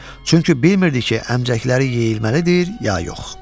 Çünki bilmirdi ki, əmcəkləri yeyilməlidir, ya yox.